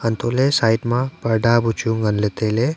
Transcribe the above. antoley side ma parda bu chu nganley tailey.